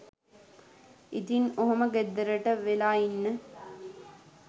ඉතින් ඔහොම ගෙදරට වෙලා ඉන්න